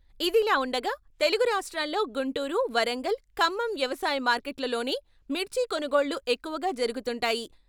ఇది ఇలా ఉండగా తెలుగు రాష్ట్రాల్లో గుంటూరు, వరంగల్, ఖమ్మం వ్యవసాయ మార్కెట్లలోనే మిర్చి కొనుగోళ్లు ఎక్కువగా జరుగుతుంటాయి.